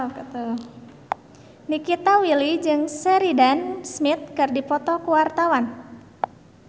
Nikita Willy jeung Sheridan Smith keur dipoto ku wartawan